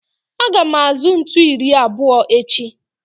Aga m azụ ntu iri abụọ echi